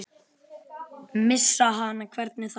Missa hana, hvernig þá?